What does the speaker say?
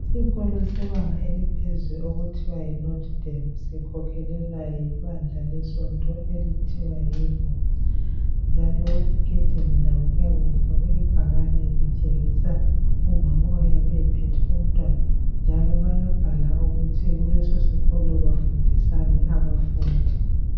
Isikolo sebanga eliphezulu okuthiwa yiNotre Dame sikhokhelwa yibandla lesonto okuthiwa yiRoma njalo egedini labo kuyabe lifakwe ibhakane litshengisa umama oyabe ephethe umntwana njalo bayabhala ukuthi kulesosikolo bafundisani abafundi.